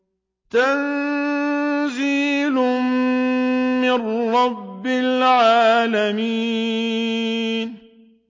تَنزِيلٌ مِّن رَّبِّ الْعَالَمِينَ